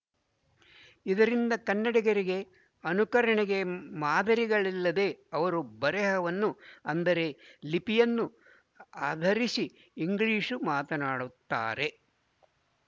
ಇದರಿಂದ ಕನ್ನಡಿಗರಿಗೆ ಅನುಕರಣೆಗೆ ಮಾದರಿಗಳಿಲ್ಲದೆ ಅವರು ಬರೆಹವನ್ನು ಅಂದರೆ ಲಿಪಿಯನ್ನು ಆಧರಿಸಿ ಇಂಗ್ಲಿಶ್‌ನ್ನು ಮಾತನಾಡುತ್ತಾರೆ